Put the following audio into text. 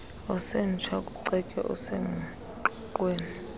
osemtsha ukucetywa okusengqiqweni